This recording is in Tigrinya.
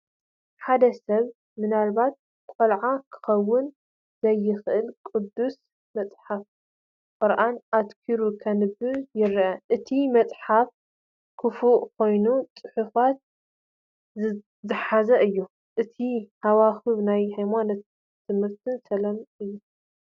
ሓደ ሰብ፡ ምናልባት ቆልዓ ክኸውን ዝኽእል፡ ቅዱስ መጽሓፍ/ቁርኣን ኣተኲሩ ከንብብ ይረአ። እቲ መጽሓፍ ክፉት ኮይኑ ጽሑፋት ዝሓዘ እዩ። እቲ ሃዋህው ናይ ሃይማኖታዊ ትምህርትን ሰላምን እዩ።